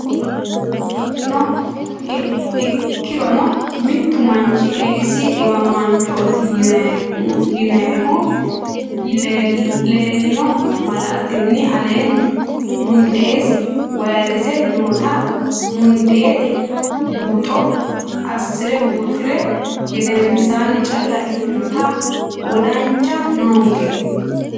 Ikkirono mittu manchi Eedisi dhiwamaanchooti yinannihu leellino malaatinni aleenni mundeesi vayrese noota mundeete buuxo assi re buuxi ri gedensaanni calla ikkinota wodancha noonke.